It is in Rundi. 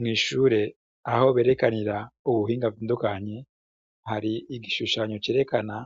Mw'ishure aho berekanira ubuhingavindukanye hari igishushanyo cerekana